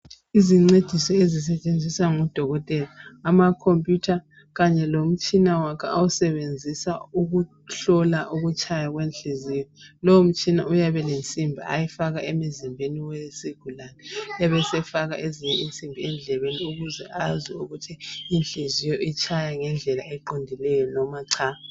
Izincediso ezisetshenziswa ngoDokotela ama computer kanye lomtshina wakhe awusebenzisa ukuhlola ukutshaya kwenhliziyo. Lo mtshina uyabe ulensimbi ayifaka emzimbeni wesigulane, ebesefaka ezinye insimbi endlebeni ukuze azwe ukuthi inhliziyo itshaya ngendlela eqondileyo noma cha.